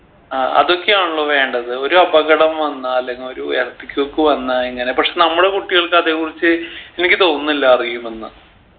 അഹ് അതൊക്കെ ആണല്ലോ വേണ്ടത് ഒരു അപകടം വന്നാൽ അല്ലെങ് ഒരു earth quake വന്നാ എങ്ങനെ പക്ഷെ നമ്മുടെ കുട്ടികൾക്ക് അതേ കുറിച്ച് എനിക്ക് തോന്നില്ല അറിയുമെന്ന്